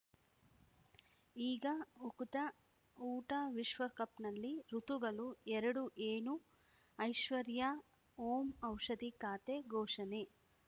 ಈಗ ಉಕುತ ಊಟ ವಿಶ್ವಕಪ್‌ನಲ್ಲಿ ಋತುಗಳು ಎರಡು ಏನು ಐಶ್ವರ್ಯಾ ಓಂ ಔಷಧಿ ಖಾತೆ ಘೋಷಣೆ